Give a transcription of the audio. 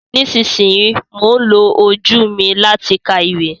Nísinsìnyí, mò ń lo ojú mi láti ka ìwé